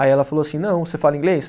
Aí ela falou assim, não, você fala inglês?